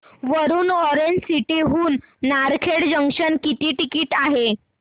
Warud orange city हून Narkhed junction किती ticket आहे